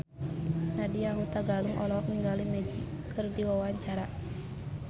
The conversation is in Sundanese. Nadya Hutagalung olohok ningali Magic keur diwawancara